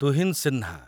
Tuhin Sinha